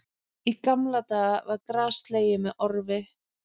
Í gamla daga var gras slegið með orfi